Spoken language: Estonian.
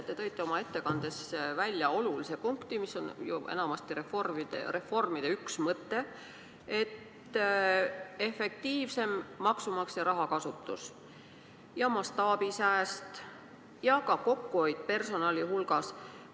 Te tõite oma ettekandes välja olulise punkti, mis on ju enamasti reformide üks mõte: efektiivsem maksumaksja raha kasutus, mastaabisääst ja kokkuhoid personali hulgas.